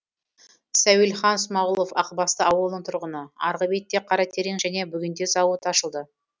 сәуелхан смағұлов ақбасты ауылының тұрғыны арғы бетте қаратерең және бөгенде зауыт ашылды